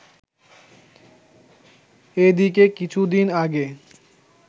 এদিকে কিছুদিন আগে